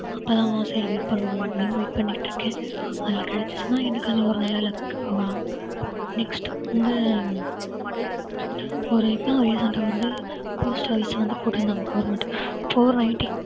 அப்புறம் சரி wait பண்ணுவோம் அப்படின்னு wait பண்ணிட்டு இருக்கேன் அதுல கிடைச்சுச்சுன்னா இன்னும் நல்ல life க்கு போகலாம் next வந்து ஒரு இப்ப recent அ வந்து post office ல வந்து போட்டிருந்தாங்க government four ninety